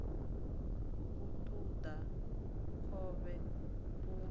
u ṱun ḓa khovhe u